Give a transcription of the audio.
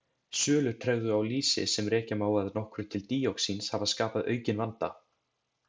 Sölutregðu á lýsi, sem rekja má að nokkru til díoxíns hafa skapað aukinn vanda.